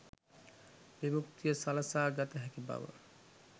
විමුක්තිය සලසා ගත හැකි බව